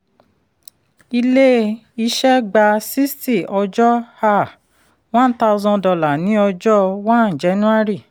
ilé-iṣẹ́ gba sixty ọjọ́ um one thousand dollar ní ọjọ́ one january.